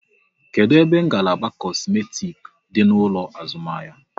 Kedụ ebe ngalaba kosmetik dị n'ụlọ azụmahịa?